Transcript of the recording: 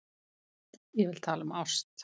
Ég vil tala um ást.